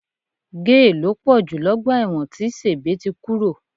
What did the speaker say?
Géè ló pọ̀ jù lọ́gbà ẹ̀wọ̀n tí Sèbé ti kúrò